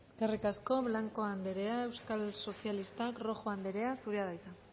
eskerrik asko blanco anderea euskal sozialistak rojo anderea zurea da hitza